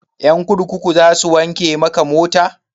Ƴan kurkukun za su wanke maka mota?